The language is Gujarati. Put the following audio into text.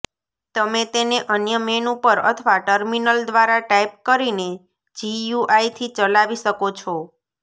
તમે તેને અન્ય મેનૂ પર અથવા ટર્મિનલ દ્વારા ટાઇપ કરીને જીયુઆઈથી ચલાવી શકો છો